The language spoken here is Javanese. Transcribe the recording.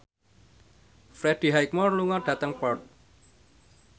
Freddie Highmore lunga dhateng Perth